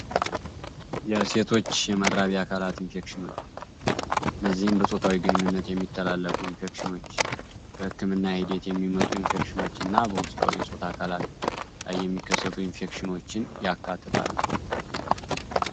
የእሴቶች የመራቢ አካላት ኢንፌክሽኖች ነዚህም በጾታዊ ግንኙነት የሚተላለፉ ኢንፌክሽኖች በሕክም እና ሄዴት የሚመጡ ኢንፌክሽኖች እና በውስጣዊ የጾት አካላት ላይ የሚከሰቱ ኢንፌክሽኖችን ያካትታሉ።